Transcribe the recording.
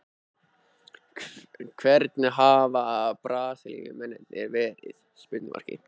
Hvernig hafa Brasilíumennirnir verið?